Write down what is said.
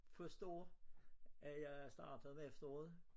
Første år at jeg startede om efteråret